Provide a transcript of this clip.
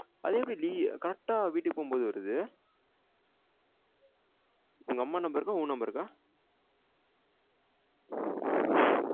அது எப்டி நி correct ஆ வீட்டுக்கு போம் போது வருது உங்க அம்மா number கா உன் number கா